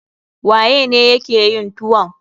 Waye ne ya ke yin tuwon?